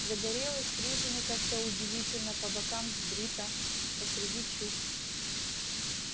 загорелый стриженный как-то удивительно по бокам сбрито посреди чуб